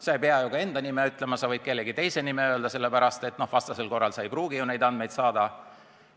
Sa ei pea isegi enda nime ütlema, sa võid kellegi teise nime öelda, kui sa vastasel korral ei pruugi neid andmeid saada.